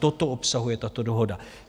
Toto obsahuje tato dohoda.